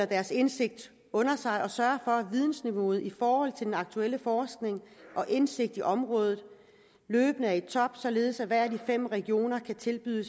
deres indsigt under sig og sørge for at vidensniveauet i forhold til den aktuelle forskning og indsigt i området løbende er i top således at hver af de fem regioner kan tilbyde